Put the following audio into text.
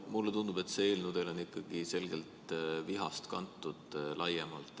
Mulle tundub, et see eelnõu on laiemalt ikkagi selgelt vihast kantud.